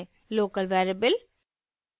local variable: